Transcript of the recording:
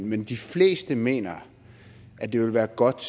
men de fleste mener at det ville være godt